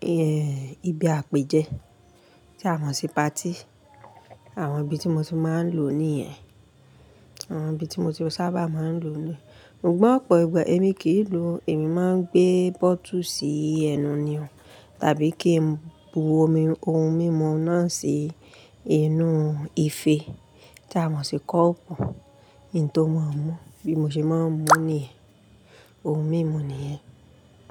ẹ́, ibi àpèjẹ́ tí a mọ̀ sí patí. Àwọn ibi tí mo ti máa ń lò ó ni yẹ̀n. Àwọn ibi tí mo ti sábà máa ń lò ó ni. Sugbọ̀n ọ̀pọ̀ ìgbà èmi kì í lò ó. Èmi máa ń gbé bótù sí ẹnu ni o tàbí kí n bu ohun mímu náà sí inú ife tí a mọ̀ sí kọ́ọ́pù, nǹ tó máa ń mú bí mo ṣe máa ń mú níyen, ohun mímu nìyẹn.